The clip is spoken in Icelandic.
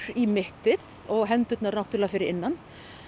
í mittið og hendurnar náttúrulega fyrir innan